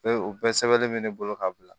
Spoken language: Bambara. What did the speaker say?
Be o bɛɛ sɛbɛnnen mɛ ne bolo ka bila